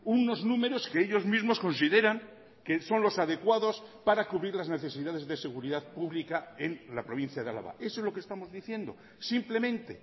unos números que ellos mismos consideran que son los adecuados para cubrir las necesidades de seguridad pública en la provincia de álava eso es lo que estamos diciendo simplemente